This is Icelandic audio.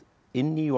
inn í og